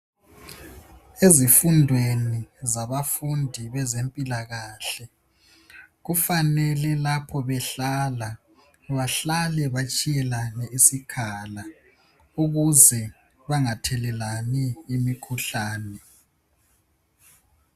Ezifundweni zabafundi bezempilakahle kufanele lapho behlala, bahlale batshiyelane isikhala ukuze bangathelelani imikhuhlane.